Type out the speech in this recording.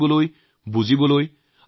ভাৰতক নিজৰ মাজত গ্ৰহণ কৰক